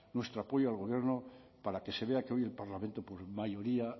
nuestro apoyo al gobierno para que se vea que hoy el parlamento por mayoría